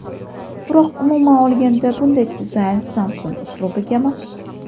Biroq umuman olganda bunday dizayn Samsung uslubiga mos.